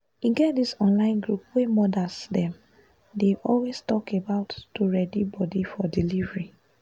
e get this online group wey modas dem they always talk about to ready body for delivery